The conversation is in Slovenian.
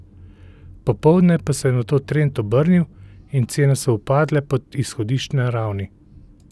Popoldne pa se je nato trend obrnil in cene so upadle pod izhodiščne ravni.